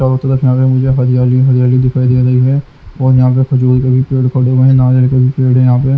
चारों तरफ यहाँ पे मुझे हरियाली ही हरियाली दिखाई दे रही है और यहाँ पे खजूर के भी पेड़ खड़े हुए हैं नाराज के भी पेड़ है यहाँ पे।